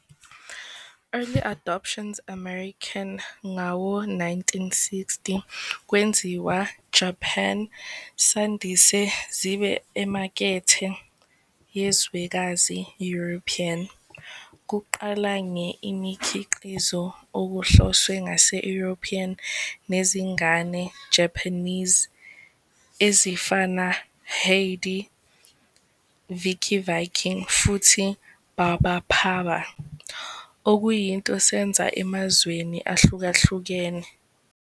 Early adaptions American ngawo-1960 kwenziwa Japan sandise zibe emakethe yezwekazi European, kuqala nge imikhiqizo okuhloswe ngaso European nezingane Japanese, ezifana "Heidi", "Vicky Viking" futhi "Barbapapa", okuyinto senza emazweni ahlukahlukene.